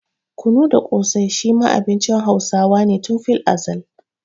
Kunu da ƙosai shi ma abincin Hausawa ne tun filazal.